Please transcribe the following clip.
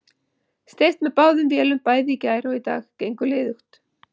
Steypt með báðum vélum bæði í gær og í dag, gengur liðugt.